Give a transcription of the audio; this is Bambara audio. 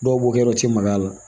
Dɔw b'o kɛ u ti maga a la